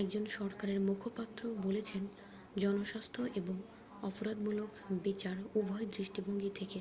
"একজন সরকারের মুখপাত্র বলেছেন "জনস্বাস্থ্য এবং অপরাধমূলক বিচার উভয় দৃষ্টিভঙ্গি থেকে